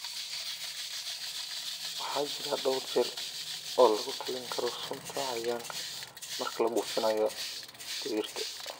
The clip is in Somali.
Waxa jira dhawr jeer oo lagu talin karo sunta cayayaanka marka la buufinayo digirta.